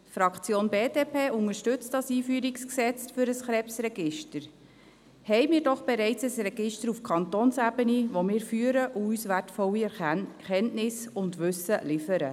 Die Fraktion BDP unterstützt das EG KRG, haben wir doch bereits ein Register auf Kantonsebene, welches wir führen, und das uns wertvolle Erkenntnisse und Wissen liefert.